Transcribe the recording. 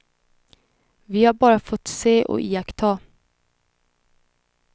Vi har bara fått se och iaktta.